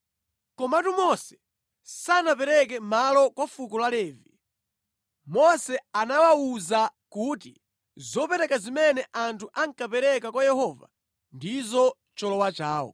Komatu Mose sanapereke malo kwa fuko la Levi. Mose anawawuza kuti zopereka zimene anthu ankapereka kwa Yehova ndizo cholowa chawo.